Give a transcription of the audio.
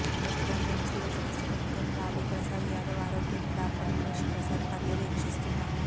ప్రస్తుతం రిమ్స్లో చికిత్స పొందుతున్న లాలూ ప్రసాద్ యాదవ్ ఆరోగ్యాన్ని డాక్టర్ ఉమేశ్ ప్రసాద్ పర్యవేక్షిస్తున్నారు